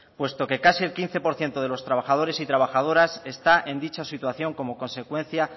puesto que casi el quince por ciento de los trabajadores y trabajadoras está en dicha situación como consecuencia